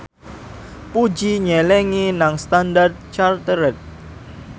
Puji nyelengi nang Standard Chartered